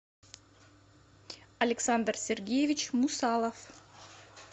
александр сергеевич мусалов